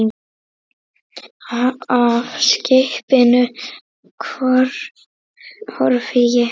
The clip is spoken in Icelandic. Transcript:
Af skipinu horfi ég heim.